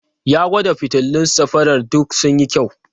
Ya gwada fitilun safarar duk sun yi kyau.